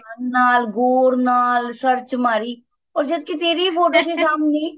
ਨਾਲ ਹੋਰ ਨਾਲ search ਮਾਰੀ ਉਰ ਜੱਦ ਕੀ ਤੇਰੀ photo ਸੀ ਸਾਮਣੇ